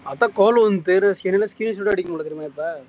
screenshot